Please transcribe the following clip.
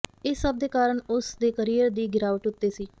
ਇਸ ਸਭ ਦੇ ਕਾਰਨ ਉਸ ਦੇ ਕਰੀਅਰ ਦੀ ਗਿਰਾਵਟ ਉੱਤੇ ਸੀ